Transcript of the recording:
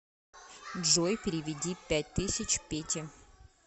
джой переведи пять тысяч пете